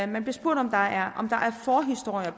man bliver spurgt om der er historier